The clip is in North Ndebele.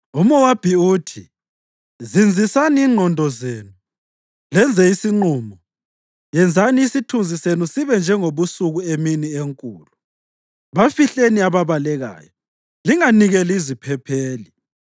UMowabi uthi, “Zinzisani ingqondo zenu lenze isinqumo. Yenzani isithunzi senu sibe njengobusuku emini enkulu; bafihleni ababalekayo, linganikeli iziphepheli.